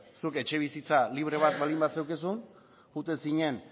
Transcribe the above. zuk etxebizitza libre bat baldin bazenuen joaten zinen